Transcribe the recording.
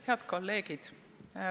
Head kolleegid!